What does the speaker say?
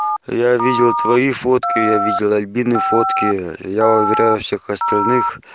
я видел твои фотки я видел альбины фотки я уверяю всех остальных